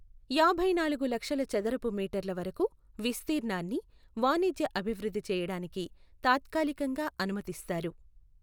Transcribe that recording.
యాభై నాలుగు లక్షల చదరపు మీటర్ల వరకూ విస్తీర్ణాన్ని వాణిజ్య అభిృద్ధి చేయడానికి తాత్కాలికంగా అనుమతిస్తారు.